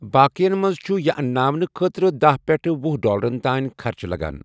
باقِیَن منٛز چُھ یہِ انٛناونہٕ خٲطرٕ داہ پیٚٹھٕہ وُہ ڈالرن تانۍ خرچہٕ لَگان۔